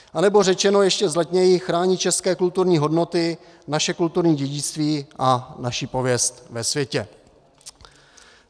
Anebo řečeno ještě vzletněji, chránit české kulturní hodnoty, naše kulturní dědictví a naši pověst ve světě.